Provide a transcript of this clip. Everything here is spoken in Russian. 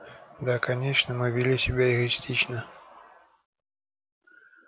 да конечно мы вели себя эгоистично